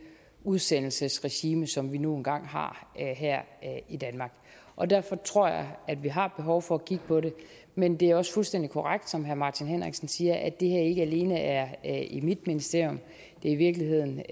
udsendelsesregime som vi nu en gang har her i danmark og derfor tror jeg at vi har behov for at kigge på det men det er også fuldstændig korrekt som herre martin henriksen siger at det her ikke alene er i mit ministerium det er i virkeligheden